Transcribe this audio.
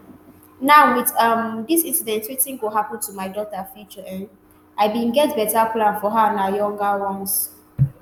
now wit um dis incident wetin go happun to my daughter future um i bin get beta plan for her and her younger ones